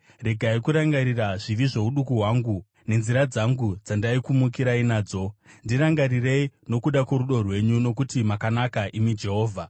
Regai kurangarira zvivi zvouduku hwangu, nenzira dzangu dzandaikumukirai nadzo; ndirangarirei nokuda kworudo rwenyu, nokuti makanaka, imi Jehovha.